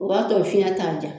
O b'a tɔ fiyɛn t'a ja.